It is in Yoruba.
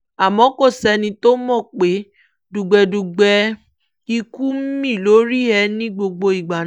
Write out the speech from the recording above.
àmọ́ kò sẹ́ni tó mọ̀ pé dùgbẹ̀dùgbẹ̀ ikú ń mí lórí ẹ̀ ní gbogbo ìgbà náà